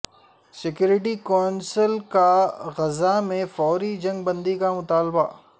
security council کا Gaza میں فوری جنگ بندی کا مطالبہ